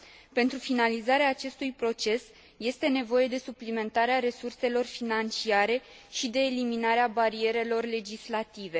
Pentru finalizarea acestui proces este nevoie de suplimentarea resurselor financiare și de eliminarea barierelor legislative.